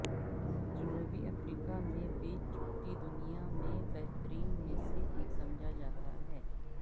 جنوبی افریقہ میں بیچ چھٹی دنیا میں بہترین میں سے ایک سمجھا جاتا ہے